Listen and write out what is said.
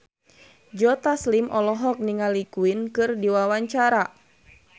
Joe Taslim olohok ningali Queen keur diwawancara